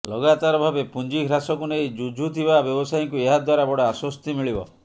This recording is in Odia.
ଲଗାତାର ଭାବେ ପୁଞ୍ଜି ହ୍ରାସକୁ ନେଇ ଜୁଝୁଥିବା ବ୍ୟବସାୟୀଙ୍କୁ ଏହାଦ୍ୱାରା ବଡ଼ ଆଶ୍ୱସ୍ତି ମିଳିବ